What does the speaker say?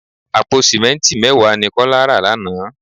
Àpò simẹnti mẹ́wàá ni Kọ́lá rà lánàá.